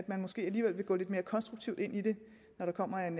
man måske alligevel gå lidt mere konstruktivt ind i det når der kommer en